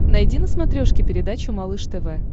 найди на смотрешке передачу малыш тв